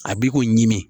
A b'i k'o ɲimi